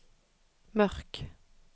Mørk